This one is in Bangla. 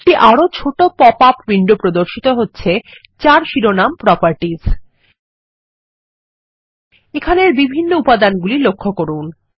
একটি আরো ছোট পপআপ উইন্ডো প্রর্দশিত হচ্ছে যার শিরোনামProperties এখানের বিভিন্ন উপাদানগুলি লক্ষ্য করুন